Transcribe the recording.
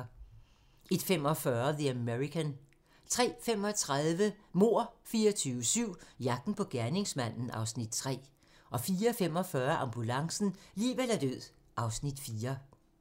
01:45: The American 03:35: Mord 24/7 - jagten på gerningsmanden (Afs. 3) 04:45: Ambulancen - liv eller død (Afs. 4)